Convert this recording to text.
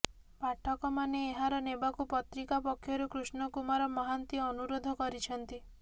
ପାଠକମାନେ ଏହାର ନେବାକୁ ପତ୍ରିକା ପକ୍ଷରୁ କୃଷ୍ଣ କୁମାର ମହାନ୍ତି ଅନୁରୋଧ କରିଛନ୍ତି